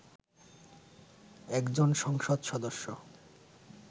একজন সংসদ সদস্য